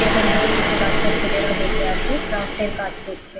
পেছনদিকে কিছু বাচ্চা ছেলেরা বসে আছে ক্রাফ্ট -এর কাজ করছে ।